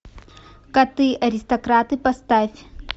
коты аристократы поставь